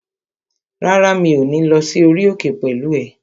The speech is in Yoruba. Rárá, mi ò ní lọ sí orí òkè pẹ̀lú ẹ